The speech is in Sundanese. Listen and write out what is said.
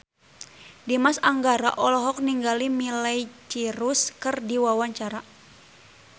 Dimas Anggara olohok ningali Miley Cyrus keur diwawancara